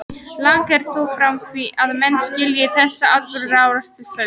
Langt er þó frá því að menn skilji þessa atburðarás til fulls.